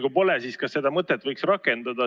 Kui ei ole, siis kas seda mõtet võiks rakendada?